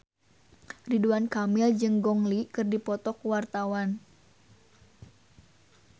Ridwan Kamil jeung Gong Li keur dipoto ku wartawan